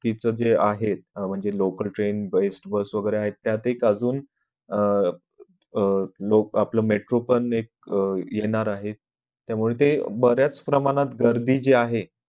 कि जे आहे म्हणजे local train बरेच best bus वैगेरे आहेत त्यातही अजून अह लोक आपलं metro पण एक येणार आहे त्यामुळे ते बऱ्याच प्रमाणात गर्दी जी आहे